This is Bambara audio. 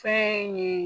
Fɛn ye